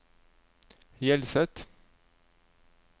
Hjelset